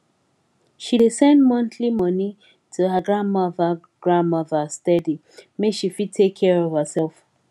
she dey send monthly money to her grandmother grandmother steady make she fit take care of herself